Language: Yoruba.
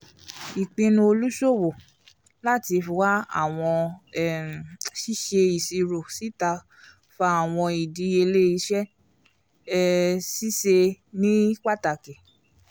ìpinnu oluṣowo lati wa awọn um ṣiṣe iṣiro síta fà awọn ìdíyelé iṣẹ́ um ṣíṣe ní pàtàkì